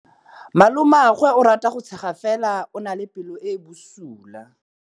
Malomagwe o rata go tshega fela o na le pelo e e bosula.